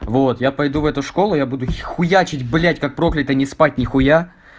вот я пойду в эту школу я буду хуячить блять как проклятый ни спать ни хуя